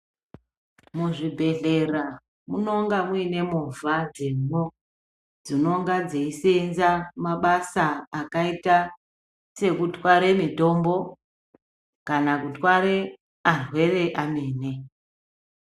Mu zvibhedhlera munonga muine movha dzemwo dzinonga dzei senza mabasa akaita seku tware mitombo kana kutware arwere amweni.